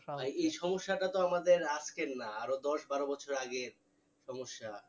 ভাই এই সমস্যাটা তো আমাদের আজকের না আরো দশ বারো বছর আগের সমস্যা